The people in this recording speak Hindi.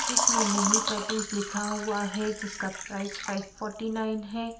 जिसमें मिनी टैटूज लिखा हुआ है जिसका प्राइस फाइव फॉर्टी नाइन है।